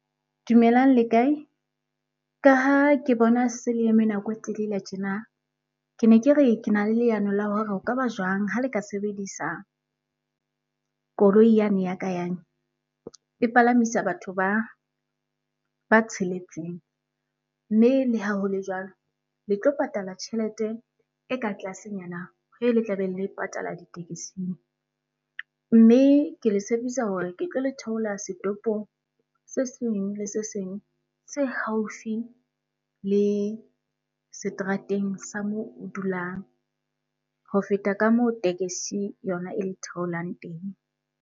Dumelang le kae? Ka ha ke bona se le eme nako e telele tjena. Ke ne ke re, ke na le leano la hore ho kaba jwang ha le ka sebedisa koloi yane ya ka yane? E palamisa batho ba tsheletseng mme le ha ho le jwalo, le tlo patala tjhelete e ka tlasenyana ho ele tla be le e patala ditekesing. Mme ke le tshepisa hore ke tlo le theola setopong se seng le se seng se haufi le seterateng sa moo o dulang ho feta ka moo tekesi yona e le theolang teng.